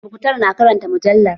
Muktar na ke karanta mujallar